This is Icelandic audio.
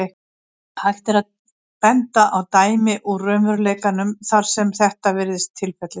Hægt er að benda á dæmi úr raunveruleikanum þar sem þetta virðist tilfellið.